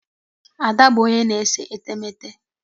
Ada bụ onye na-ese etemeete.